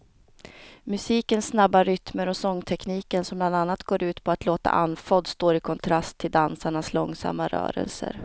Musikens snabba rytmer och sångtekniken som bland annat går ut på att låta andfådd står i kontrast till dansarnas långsamma rörelser.